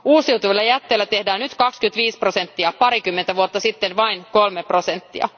Uusiutuvilla jätteillä tehdään nyt 25 prosenttia, parikymmentä vuotta sitten vain kolme prosenttia.